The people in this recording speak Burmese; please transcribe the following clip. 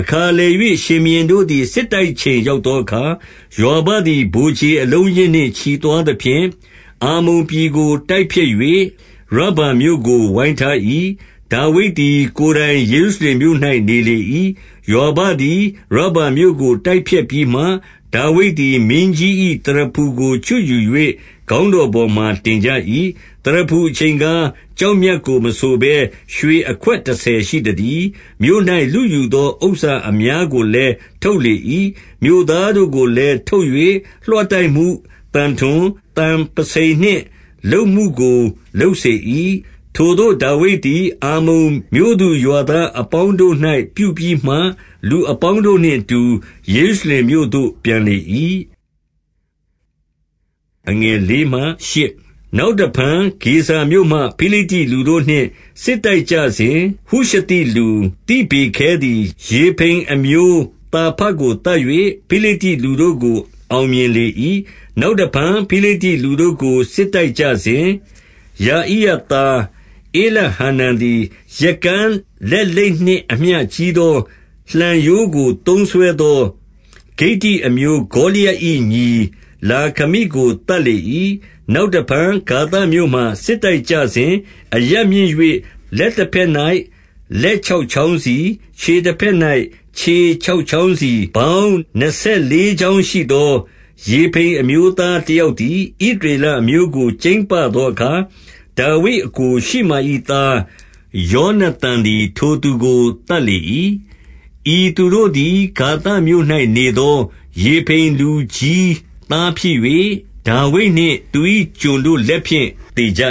အခါလည်၍၊ ရှင်ဘုရင်တို့သည် စစ်တိုက်ချိန် ရောက်သောအခါ၊ ယွာဘသည်ဗိုလ်ခြေအလုံး အရင်းနှင့် ချီသွားသဖြင့်၊ အမ္မုန်ပြည်ကို တိုက်ဖျက်၍ ရဗ္ဗာမြို့ကို ဝိုင်းထား၏။ ဒါဝိဒ်သည် ကိုယ်တိုင်ယေရုရှလင်မြို့ ၌နေလေ၏။ ယွာဘသည် ရဗ္ဗာမြို့ကို တိုက်ဖျက်ပြီးမှ၊ ဒါဝိဒ် သည် မင်းကြီး၏ သရဖူကိုချွတ်ယူ၍ ခေါင်းတော်ပေါ်မှာ တင်ကြ၏။ သရဖူအချိန်ကား၊ ကျောက်မြတ်ကိုမဆိုဘဲ ရွှေအခွက်တဆယ်ရှိသတည်း။ မြို့၌လုယူသော ဥစ္စာ အများကိုလည်း ထုတ်လေ၏။ မြို့သားတို့ကိုလည်း ထုတ်၍လွှတိုက်မှု၊သံထွန်၊ သံပုဆိန်နှင့် လုပ်မှုကိုလုပ်စေ၏။ထိုသို့ ဒါဝိဒ်သည် အမ္မုန် မြို့သူရွာသားအပေါင်းတို့၌ ပြုပြီးမှ၊ လူအပေါင်းတို့နှင့် အတူ ယေရုရှလင်မြို့သို့ ပြန်လေ၏။ နောက်တဖန် ဂေဇာမြို့မှ ဖိလိတ္တိလူတို့နှင့် စစ်တိုက်ကြစဉ်၊ ဟုရှသိလူသိဗေခဲသည် ရေဖိမ်အမျိုး သာဖကို သတ်၍ ဖိလိတ္တိလူတို့ကို အောင်မြင်လေ၏။ နောက်တဖန် ဖိလိတ္တိလူတို့ကို စစ်တိုက်ကြစဉ်၊ ယာဣယသား ဧလဟာနန်သည် ရက်ကန်းလက်လိပ်နှင့် အမျှကြီးသော လှံရိုးကိုသုံးစွဲသော ဂိတ္တိအမျိုး ဂေါလျတ်၏ ညီလာခမိကို သတ်လေ၏။ နောက်တဖန်ဂါသမြို့မှာ စစ်တိုက်ကြစဉ်၊ အရပ် မြင့်၍ လက်တဘက်၌ လက်ခြောက်ချောင်းစီ၊ ခြေ တဘက်၌ ခြေခြောက်ချောင်းစီ၊ ပေါင်းနှစ်ဆယ်လေး ချောင်းရှိသော ရေဖိမ်အမျိုးသားတယောက်သည်၊ ဣသရေလအမျိုးကို ကြိမ်းပသောအခါ၊ ဒါဝိဒ် အစ်ကိုရှိမာ၏ သားယောနသန်သည် ထိုသူကို သတ်လေ ၏။ ဤသူတို့သည် ဂါသမြို့၌နေသော ရေဖိမ်လူကြီး သားဖြစ်၍ ဒါဝိဒ်နှင့်သူ၏ကျွန်တို့လက်ဖြင့်သေကြ